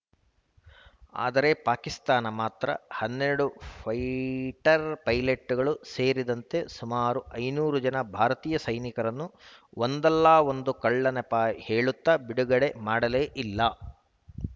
ಆದರೆ ಪಾಕಿಸ್ತಾನ ಮಾತ್ರ ಹನ್ನೆರಡು ಫೈಟರ್‌ ಪೈಲಟ್ಟುಗಳೂ ಸೇರಿದಂತೆ ಸುಮಾರು ಐನೂರು ಜನ ಭಾರತೀಯ ಸೈನಿಕರನ್ನು ಒಂದಲ್ಲಾ ಒಂದು ಕಳ್ಳ ನೆಪ ಹೇಳುತ್ತಾ ಬಿಡುಗಡೆ ಮಾಡಲೇ ಇಲ್ಲ